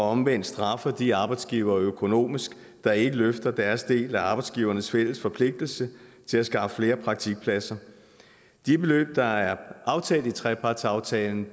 omvendt straffer de arbejdsgivere økonomisk der ikke løfter deres del af arbejdsgivernes fælles forpligtelse til at skaffe flere praktikpladser de beløb der er aftalt i trepartsaftalen